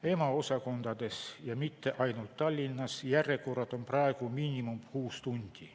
EMO osakondades, ja mitte ainult Tallinnas, järjekorrad on praegu miinimum kuus tundi.